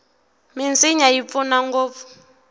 minsinya yi pfuna ngopfu